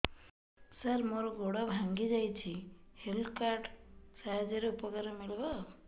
ସାର ମୋର ଗୋଡ଼ ଭାଙ୍ଗି ଯାଇଛି ହେଲ୍ଥ କାର୍ଡ ସାହାଯ୍ୟରେ ଉପକାର ମିଳିବ